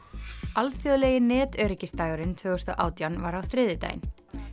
alþjóðlegi tvö þúsund og átján var á þriðjudaginn